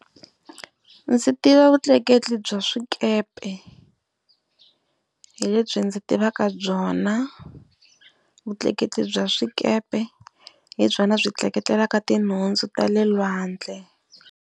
Ndzi tiva vutleketli bya swikepe, hi lebyi ndzi tivaka byona. Vutleketli bya swikepe hi byona byi tleketlelaku tinhundzu ta le lwandle.